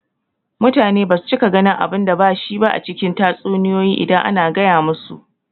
Mutane basu cika ganin abunda bashi ba a cikin tatsuniyoyi idan ana gaya musu